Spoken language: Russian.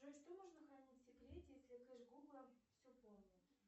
джой что можно хранить в секрете если кэш гугла все помнит